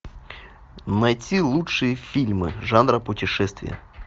найти лучшие фильмы жанра путешествие